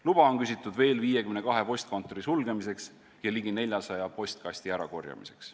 Luba on küsitud veel 52 postkontori sulgemiseks ja ligi 400 postkasti ärakorjamiseks.